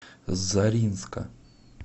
заринска